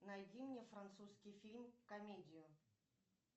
найди мне французский фильм комедию